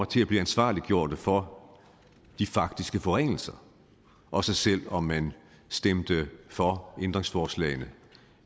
til at blive ansvarlig for de faktiske forringelser også selv om man stemte for ændringsforslagene